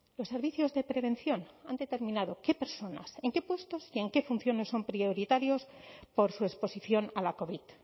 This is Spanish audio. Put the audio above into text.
los servicios de prevención han determinado qué personas en qué puestos y en qué funciones son prioritarios por su exposición a la covid